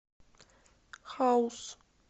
хаус